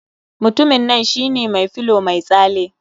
Mutumin nan shine mai filow mai tsale.